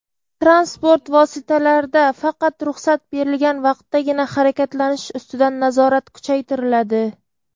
Transport vositalarida faqat ruxsat berilgan vaqtdagina harakatlanish ustidan nazorat kuchaytiriladi.